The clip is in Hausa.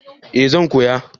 eh zan koya